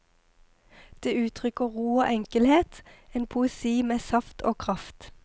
Det uttrykker ro og enkelhet, en poesi med saft og kraft.